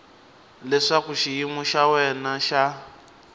leswaku xiyimo xa wena xa